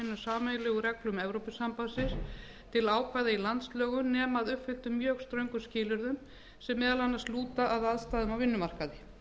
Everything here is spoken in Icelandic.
sameiginlegu reglum evrópusambandinu til að ákveða í landslögum nema að uppfylltum mjög ströngum skilyrðum sem meðal annars lúta að aðstæðum á vinnumarkaði